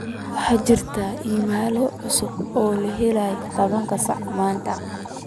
waxaa jira iimaylo cusub oo la helay tobankii saac ee maanta